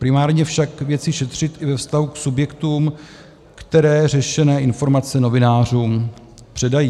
Primárně však věci šetřit i ve vztahu k subjektům, které řešené informace novinářům předají.